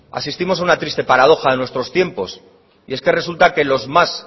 asistimos a una triste paradoja de nuestros tiempos y es que resulta que los más